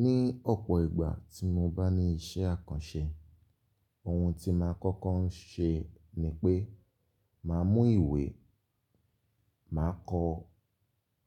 Ní ọ̀pọ̀ ìgbà tí mo bá ní iṣẹ́ àkànṣe, oun tí màá kọ́kọ́ ń ṣe ni pé màá mú ìwé, màá kọ